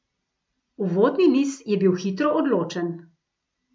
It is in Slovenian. Uvodni niz je bil hitro odločen.